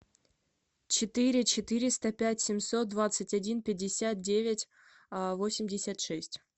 четыре четыреста пять семьсот двадцать один пятьдесят девять восемьдесят шесть